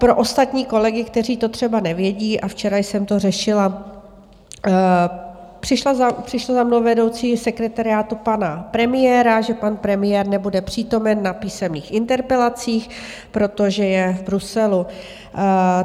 Pro ostatní kolegy, kteří to třeba nevědí, a včera jsem to řešila, přišla za mnou vedoucí sekretariátu pana premiéra, že pan premiér nebude přítomen na písemných interpelacích, protože je v Bruselu.